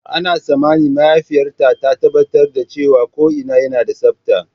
Ana tsammanin mahaifiyar ta tabbatar da cewa ko'ina yana da tsabta.